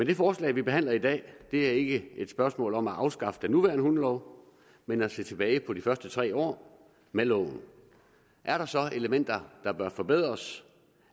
det forslag vi behandler i dag er ikke et spørgsmål om at afskaffe den nuværende hundelov men at se tilbage på de første tre år med loven er der så elementer der bør forbedres